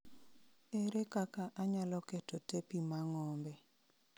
Ere kaka anyalo keto tepi ma ng'ombe